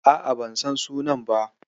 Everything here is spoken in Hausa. A'a, ban san sunan ba.